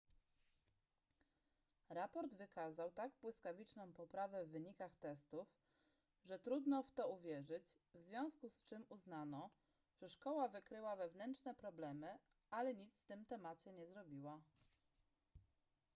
raport wykazał tak błyskawiczną poprawę w wynikach testów że trudno w to uwierzyć w związku z czym uznano że szkoła wykryła wewnętrzne problemy ale nic z tym temacie nie zrobiła